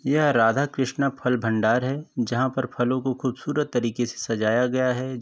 यह राधा कृष्ण फल भंडार है जहाँ पर फलों को खूबसूरत तरीके से सजाया गया है।